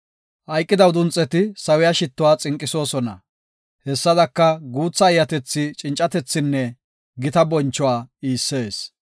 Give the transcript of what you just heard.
Hayqida udunxeti sawiya shittuwa xinqisoosona; hessadaka, guutha eeyatethi cincatethinne gita bonchuwa iissees.